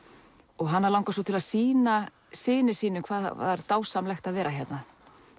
og hana langar svo til að sýna syni sínum hvað það var dásamlegt að vera hérna